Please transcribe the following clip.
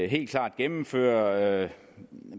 helt klart gennemføre